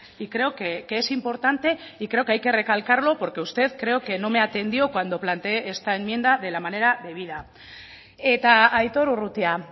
y creo que es importante y creo que hay que recalcarlo porque usted creo que no me atendió cuando plantee esta enmienda de la manera debida eta aitor urrutia